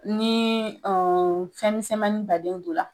Nii fɛnmisɛnmani baden donla